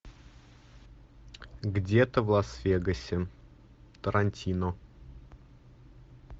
где то в лас вегасе тарантино